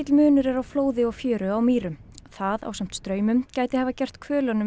munur er á flóði og fjöru á Mýrum það ásamt straumum gæti hafa gert